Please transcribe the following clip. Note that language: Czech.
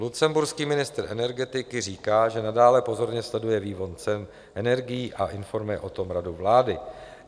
Lucemburský ministr energetiky říká, že nadále pozorně sleduje vývoj cen energií a informuje o tom radu vlády.